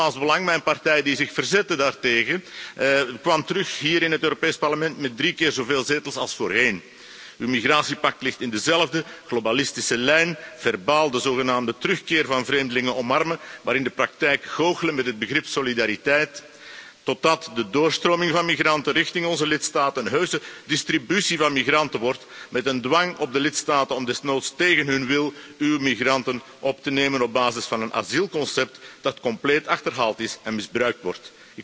Het Vlaams Belang, mijn partij, die zich daartegen verzette, kwam hier in het Europees Parlement terug met drie keer zoveel zetels als voorheen. Uw migratiepact ligt in dezelfde globalistische lijn verbaal de zogenaamde terugkeer van vreemdelingen omarmen, maar in de praktijk goochelen met het begrip solidariteit totdat de doorstroming van migranten richting onze lidstaten een heuse distributie van migranten wordt met een dwang op de lidstaten om desnoods tegen hun wil uw migranten op te nemen op basis van een asielconcept dat compleet achterhaald is en misbruikt wordt.